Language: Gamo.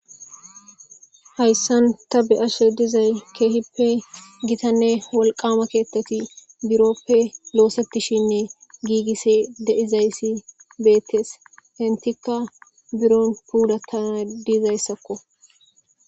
hayssan ta be ashshe dizay keehippe gitanne walqama keettati buroppe loosettishinne giigisse deizayssi beettees hintikka biron pudakka dizayssakko